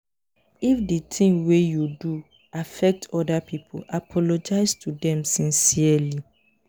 if di thing wey you do affect oda pipo apologize to them sincerely